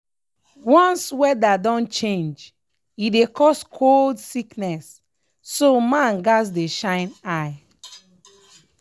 once weather don change e dey cause cold sickness so man gats dey shine eye.